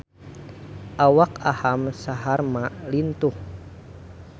Awak Aham Sharma lintuh